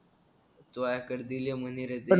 तुझ्याकडे दिले म्हणे रे ते